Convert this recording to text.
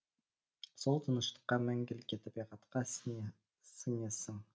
сол тыныштыққа мәңгілікке табиғатқа сіңесің